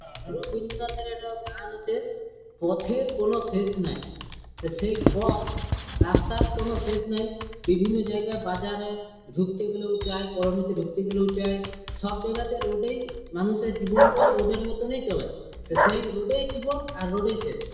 রানা রবীন্দ্রনাথের একটা গান আছে পথের কোনো শেষ নাই তো সেই পথ রাস্তার কোনো শেষ নেয় | বিভিন্ন জায়গায় বাজারে ঢুকতে গেলেও চাই কর্মতে ঢুকতে গেলেও চাই | সব জায়গাতে রোড এই মানুষের জীবনটাও রোড -এর মতোনিত হয় তা সেই রোড এই জীবন আর রোড এই শেষ ।